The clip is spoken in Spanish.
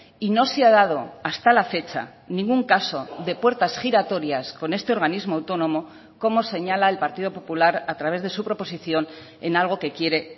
y no se ha dado hasta la fecha ningún caso de puertas giratorias con este organismo autónomo como señala el partido popular a través de su proposición en algo que quiere